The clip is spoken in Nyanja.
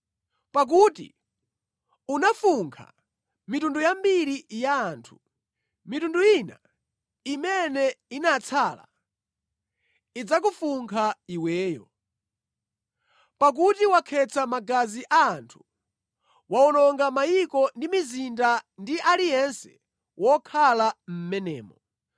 Pakuti unafunkha mitundu yambiri ya anthu, mitundu ina imene inatsala idzakufunkha iweyo. Pakuti wakhetsa magazi a anthu; wawononga mayiko ndi mizinda ndi aliyense wokhala mʼmenemo.